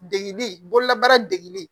Degili bololabaara de